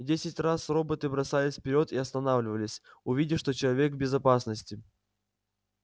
десять раз роботы бросались вперёд и останавливались увидев что человек в безопасности